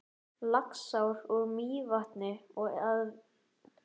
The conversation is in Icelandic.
Laxár úr Mývatni og á vinnuvélum.